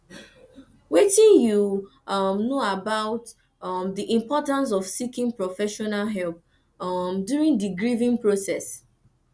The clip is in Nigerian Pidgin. wetin you um know about um di importance of seeking professional help um during di grieving process